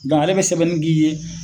Nga ale be sɛbɛnni k'i ye